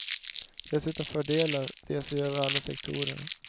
Dessutom fördelar de sig över alla sektorerna.